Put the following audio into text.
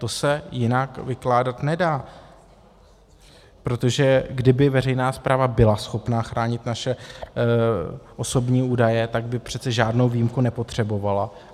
To se jinak vykládat nedá, protože kdyby veřejná správa byla schopna chránit naše osobní údaje, tak by přece žádnou výjimku nepotřebovala.